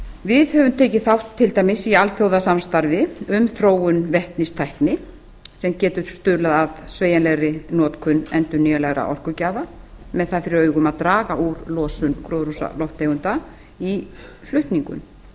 við höfum til dæmis tekið þátt í alþjóðasamstarfi um þróun vetnistækni sem getur stuðlað að sveigjanlegri notkun endurnýjanlegra orkugjafa með það fyrir augum að draga úr losun gróðurhúsalofttegunda í flutningum